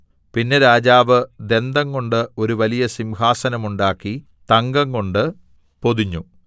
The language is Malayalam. പിന്നെ രാജാവ് ദന്തംകൊണ്ട് ഒരു വലിയ സിംഹാസനം ഉണ്ടാക്കി തങ്കംകൊണ്ട് പൊതിഞ്ഞു